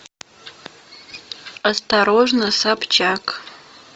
осторожно собчак